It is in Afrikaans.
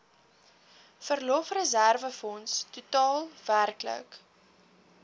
verlofreserwefonds totaal werklik